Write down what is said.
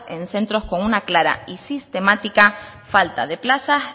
en centros con una clara y sistemática falta de plazas